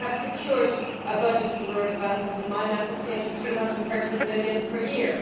We have secured a budget for rural development in my Member State of EUR 313 million per year.